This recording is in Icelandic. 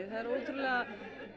það er ótrúlega